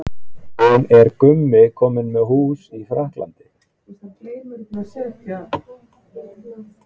En er Gummi kominn með hús í Frakklandi?